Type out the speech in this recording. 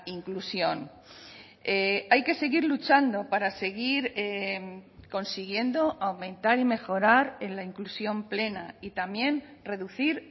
inclusión hay que seguir luchando para seguir consiguiendo aumentar y mejorar en la inclusión plena y también reducir